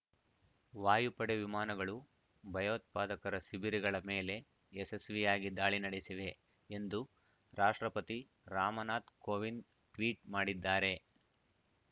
ವಾಯುಪಡೆ ವಿಮಾನಗಳು ಭಯೋತ್ಪಾದಕರ ಶಿಬಿರಗಳ ಮೇಲೆ ಯಶಸ್ವಿಯಾಗಿ ದಾಳಿ ನಡೆಸಿವೆ ಎಂದು ರಾಷ್ಟ್ರಪತಿ ರಾಮನಾಥ್ ಕೋವಿಂದ್ ಟ್ವೀಟ್ ಮಾಡಿದ್ದಾರೆ